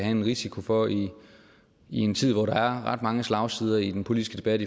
en risiko for i en tid hvor der er ret mange slagsider i den politiske debat